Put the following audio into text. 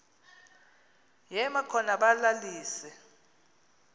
yema khona balalise